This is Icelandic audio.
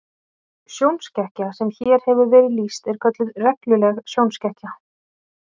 Sjónskekkja sem hér hefur verið lýst er kölluð regluleg sjónskekkja.